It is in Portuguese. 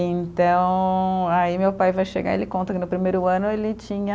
Então, aí meu pai vai chegar e ele conta que no primeiro ano ele tinha